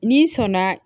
N'i sɔnna